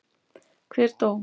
Hver dó?